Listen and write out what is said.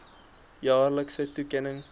jaarlikse toekenning